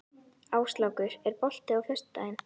Áslákur, er bolti á föstudaginn?